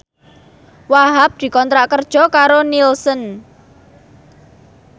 Wahhab dikontrak kerja karo Nielsen